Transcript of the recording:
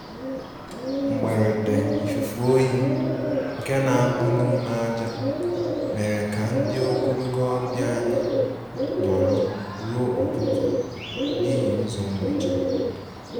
Mgberede ifụfe oyi nke na akpụ n'ime aja, mere ka ndi ogologo ọbia anyi noro ruo ụtụtụ n'ihi ụzo mgbochi.